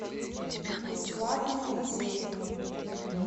бесплатные музеи